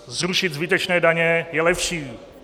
Zrušit zbytečné daně je lepší.